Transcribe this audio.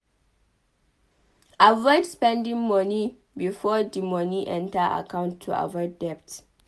Avoid spending moni before di moni enter accont to avoid debt